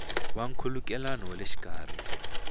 ya nkhulukelano wa le xikarhi